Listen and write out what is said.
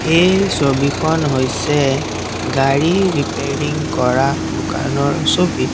এই ছবিখন হৈছে গাড়ী ৰিপিয়াৰিং কৰা দোকানৰ ছবি।